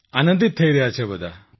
આનંદિત થઈ રહ્યા છે બધા